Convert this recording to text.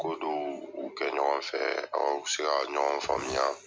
Ko dɔw u kɛ ɲɔgɔnfɛ aw bɛ se ka ɲɔgɔn faamuya